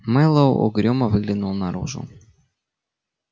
мэллоу угрюмо выглянул наружу